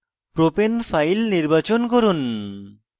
propane file নির্বাচন from